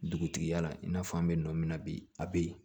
Dugutigi yala i n'a fɔ an bɛ nɔ min na bi a bɛ yen